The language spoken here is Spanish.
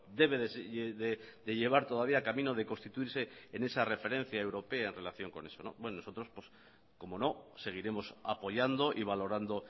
debe de llevar todavía camino de constituirse en esa referencia europea en relación con eso nosotros cómo no seguiremos apoyando y valorando